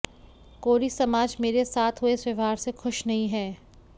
कोरी समाज मेरे साथ हुए इस व्यवहार से ख़ुश नही है